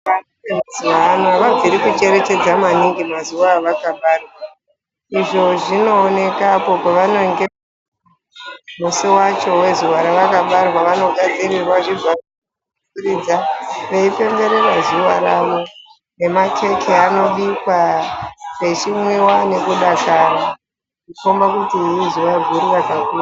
Mazuwa ano Avabviri kucherechedza maningi mazuwa avane nge vakabarwa izvo zvinooneka pavanenge musi wacho wezuwa ravakabarwa vanogadzirirwa zvibharuma veipemberera zuwa rawo nemakeke anobhikwa pechimwiwa nekudakara kukombe kuti izuwa guru rakaku.